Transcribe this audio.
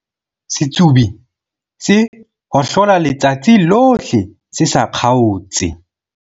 setsobi se hohlola letsatsi lohle se sa kgaotse